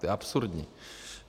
To je absurdní.